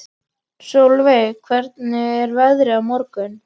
Solveig, hvernig er veðrið á morgun?